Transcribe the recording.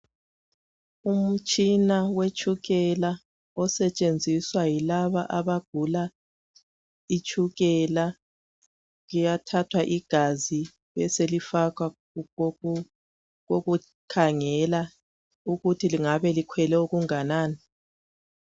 Umutshina wetshukela osetshenziswa yilaba abagula itshukela, kuyathathwa igazi beselifakwa kokukhangela ukuthi lingabe likhwele okunganani.